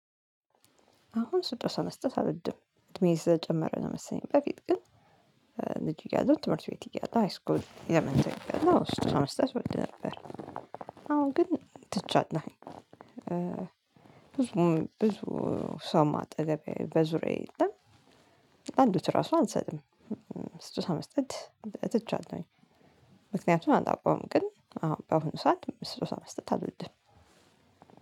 አሁን ስጦታ መስጠት አልወድም እድሜዬ ስለጨመረ ነው መሰለኝ። በፊት ግን ልጁ እያለሁ ትምህርት ቤት እያለሁ ሃይስኩል የመንተን እያለሁ ስድስት ሰባት ስድስት ወልድ ነበር። አሁን ግን ትቻለው። ብዙ ብዙ ሰውም አጠገቤ በዙሪያዬ የለም። አንድች ራሱ አልሰጥም። ስጦታ መስጠት ትቻለሁኝ። ምክንያቱን አላውቀውም። ግን አዎ በአሁኑ ሰዓት ስጦታ መስጠት አልወድም።